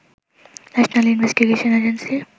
national investigation agency